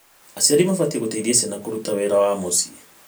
Aciari mabatiĩ gũciteithia ciana kũruta wĩra wa mũciĩ.